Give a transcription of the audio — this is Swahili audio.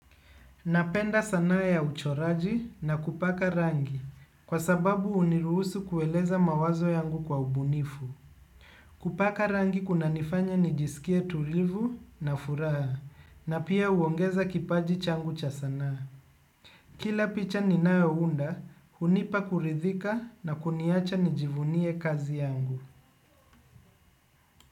Napenda sana ya uchoraji na kupaka rangi, kwa sababu huniruhusu kueleza mawazo yangu kwa ubunifu. Kupaka rangi kuna nifanya nijisikie tulivu na furaha, na pia huongeza kipaji changu cha sanaa. Kila picha ninayounda, hunipa kuridhika na kuniacha nijivunie kazi yangu.